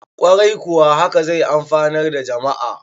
kwarai kuwa haka zai amfanar da jama`a